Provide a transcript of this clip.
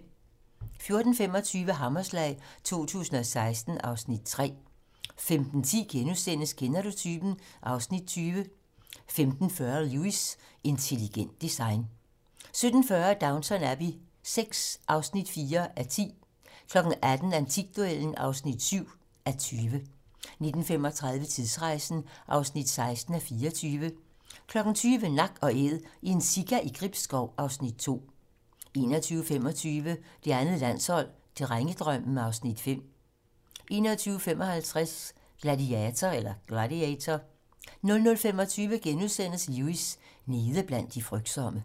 14:25: Hammerslag 2016 (Afs. 3) 15:10: Kender du typen? (Afs. 20)* 15:40: Lewis: Intelligent design 17:10: Downton Abbey VI (4:8) 18:00: Antikduellen (7:20) 19:35: Tidsrejsen (16:24) 20:00: Nak & Æd - en sika i Gribskov (Afs. 2) 21:25: Det andet landshold: Drengedrømmen (Afs. 5) 21:55: Gladiator 00:25: Lewis: Nede blandt de frygtsomme *